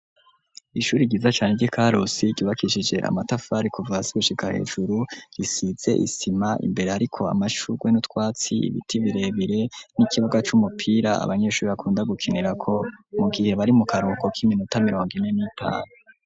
Ishuri ryiza cane ryi karusi ,ryubakishije amatafari kuva sigushika hejuru, risize isima imbere hariko amashurwe nu twatsi, ibiti birebire n'ikibuga c'umupira, abanyeshuri bakunda gukinira ko mu gihe bari mu karuhuko k'iminota mirongo ine n'itanu.